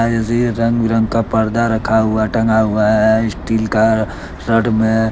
रंग बिरंग का पर्दा रखा हुआ टंगा हुआ है स्टील का रड में--